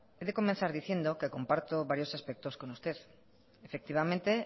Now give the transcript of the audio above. he de comenzar diciendo que comparto varios aspectos con usted efectivamente